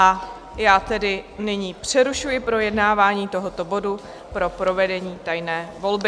A já tedy nyní přerušuji projednávání tohoto bodu pro provedení tajné volby.